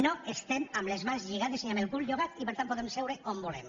no estem ni amb les mans lligades ni amb el cull llogat i per tant podem seure on volem